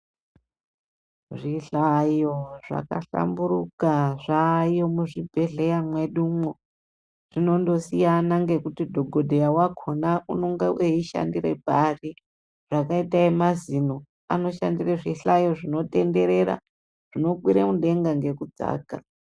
Zvihlayo zvakahlamburuka zvaayo muzvibhedhleya mwedumwo. Zvinondosiyana ngekuti dhokodheya wakona unenge weishandire pari. Zvakaite emazino, anoshandire zvihlayo zvinotenderera zvinokwire mudenga ngekudzaka.